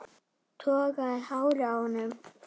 Toga í hárið á honum.